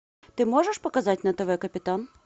ты можешь показать на тв капитан